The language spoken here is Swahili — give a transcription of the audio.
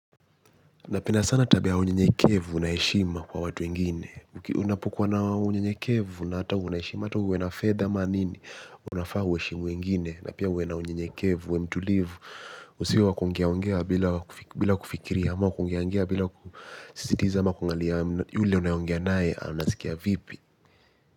Na penda sana tabia ya unyenyekevu na heshima kwa watu wengine. Unapokuwa na unyenyekevu na hata uwe na heshima na hata uwe na fedha ama nini unafaa uheshimu wengine. Na pia uwe na unyekevu, uwe mtulivu. Usiws wa kuongeaongea bila kufikiria, ama kuongeongea bila kusisitiza, qma kungalia yule unayeongea naye, anasikia vipi.